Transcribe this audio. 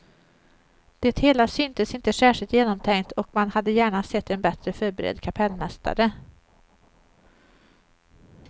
Det hela syntes inte särskilt genomtänkt, och man hade gärna sett en bättre förberedd kapellmästare.